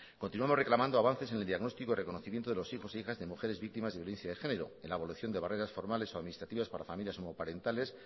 continuamos reclamando avances en el diagnóstico y reconocimiento de los hijos e hijas de mujeres víctimas de violencia de género en abolición de barreras formales o administrativas para familias monoparentales